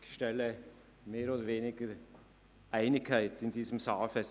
Ich stelle mehr oder weniger Einigkeit in diesem Saal fest.